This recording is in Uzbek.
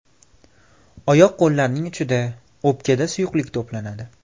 Oyoq qo‘llarning uchida, o‘pkada suyuqlik to‘planadi.